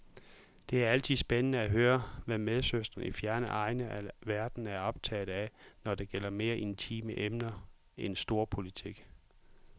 Det er altid spændende at høre, hvad medsøstre i fjerne egne af verden er optaget af, når det gælder mere intime emner end storpolitik.